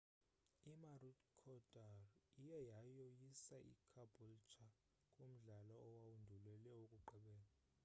i-maroochydore iye yoyisa icaboolture kumdlalo owandulela owokugqibela